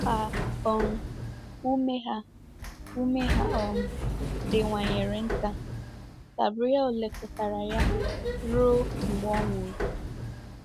Ka um ume ha ume ha um diwanyere nta, Gabriele lekọtara ya ruo mgbe ọ nwụrụ.